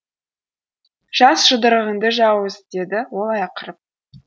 жаз жұдырығыңды жауыз деді ол ақырып